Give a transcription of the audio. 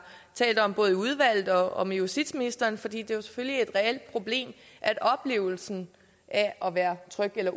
talt om både i udvalget og med justitsministeren fordi det jo selvfølgelig er et reelt problem at oplevelsen af at være utryg er